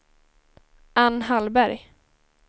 Anne Hallberg